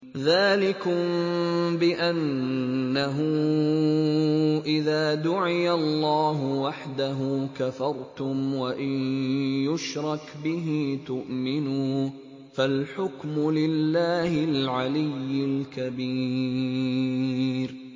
ذَٰلِكُم بِأَنَّهُ إِذَا دُعِيَ اللَّهُ وَحْدَهُ كَفَرْتُمْ ۖ وَإِن يُشْرَكْ بِهِ تُؤْمِنُوا ۚ فَالْحُكْمُ لِلَّهِ الْعَلِيِّ الْكَبِيرِ